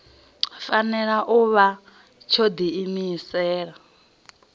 fanela u vha tsho diimisela